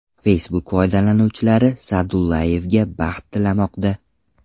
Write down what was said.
Facebook foydalanuvchilari Sa’dullayevga baxt tilamoqda.